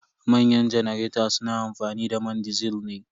Manyan janareta su na amfani da man disil ne.